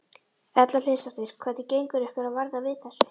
Erla Hlynsdóttir: Hvernig gengur ykkur að verða við þessu?